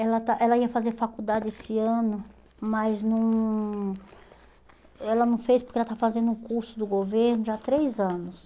Ela está ela ia fazer faculdade esse ano, mas não ela não fez porque ela está fazendo um curso do governo já há três anos.